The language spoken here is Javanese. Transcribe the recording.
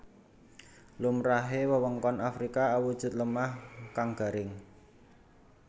Lumrahe wewengkon Afrika awujud lemah kang garing